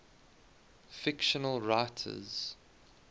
fictional writers